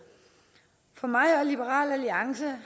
for mig og liberal alliance